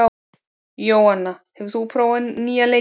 Jóanna, hefur þú prófað nýja leikinn?